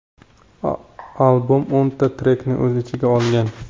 Albom o‘nta trekni o‘z ichiga olgan.